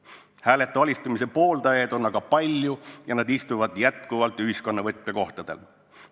Kuid hääletu alistumise pooldajaid on palju ja nad istuvad endiselt ühiskonna võtmekohtadel.